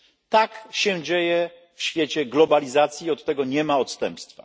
Tak się dzieje w świecie globalizacji, od tego nie ma odstępstwa.